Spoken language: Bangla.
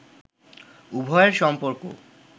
উভয়ের সম্পর্ক